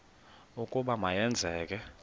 ukuba ma yenzeke